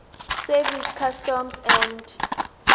service customs and